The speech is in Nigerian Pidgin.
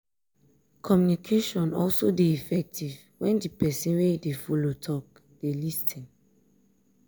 communication also de effective when di persin wey you de follow talk de lis ten